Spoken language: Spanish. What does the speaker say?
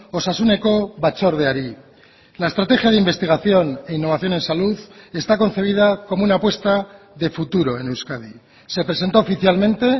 osasuneko batzordeari la estrategia de investigación e innovación en salud está concebida como una apuesta de futuro en euskadi se presentó oficialmente